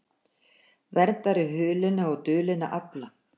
Verndari hulinna og dulinna afla